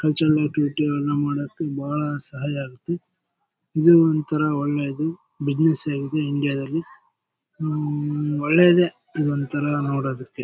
Cultural activity ನಾವು ಮಾಡೋದು ಬಹಳ ಸಹಜ ಐತಿ ಇದು ಒಂತರ ಒಳ್ಳೇದು ಬಿಸಿನೆಸ್ ಆಗಿದೆ ಇಂಡಿಯಾ ನಲ್ಲಿ ಹ್ಮ್ ಒಳ್ಳೇದೇ ಇದೊಂದು ತರ ನೋಡೊದಕ್ಕೆ.